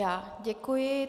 Já děkuji.